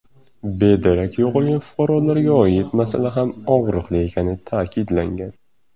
Bedarak yo‘qolgan fuqarolarga oid masala ham og‘riqli ekani ta’kidlangan.